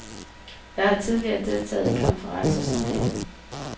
Jeg har tidligere deltaget i konferencer som denne.